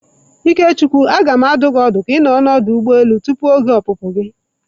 Ikechukwu, a ga m adụ gi ọdụ ka ị nọrọ na ọdụ ụgbọ elu tupu oge opupu gi.